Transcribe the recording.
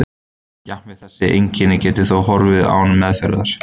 Jafnvel þessi einkenni geta þó horfið án meðferðar.